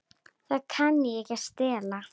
Það kann ekki að stela.